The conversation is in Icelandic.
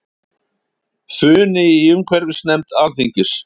Funi í umhverfisnefnd Alþingis